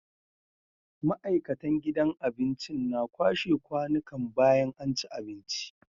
Ma'aikatan gidan abincin na kwashe kwanikan bayan anci abinci